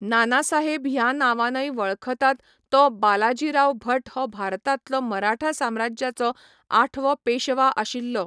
नाना साहेब ह्या नांवानय वळखतात तो बालाजीराव भट हो भारतांतलो मराठा साम्राज्याचो आठवो पेशवा आशिल्लो.